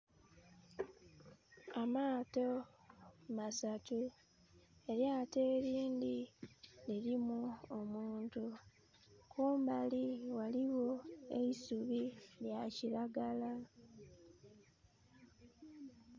Amaato masatu. Elyaato elindhi lilimu omuntu. Kumbali ghaligho eisubi lya kiragala.